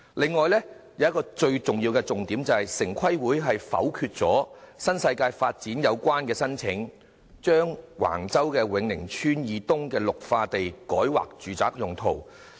此外，還有一個最重要的重點，便是城規會否決了新世界的申請，把橫洲永寧村以東的綠化地改劃住宅用途。